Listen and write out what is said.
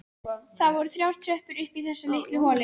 Það voru þrjár tröppur upp í þessa litlu holu.